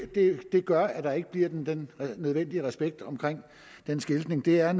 gør at der ikke bliver den nødvendige respekt omkring den skiltning vi er